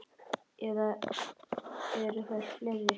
Eða eru þær fleiri?